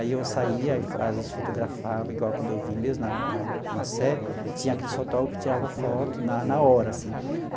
Aí eu saía e às vezes fotografava, igual quando eu vim mesmo na na na Sé, tinha aqueles fotógrafo que tirava foto na na hora, assim.